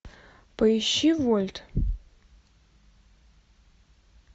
поищи вольт